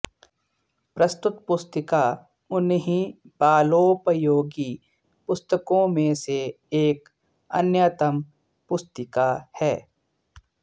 प्रस्तुत पुस्तिका उन्हीं बालोपयोगी पुस्तकों में से एक अन्यतम पुस्तिका है